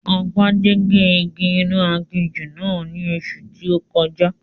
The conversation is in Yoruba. Agbájé gé igi inú aginjù náà ní oṣù tí ó kọjá